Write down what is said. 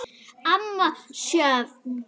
Amma Sjöfn.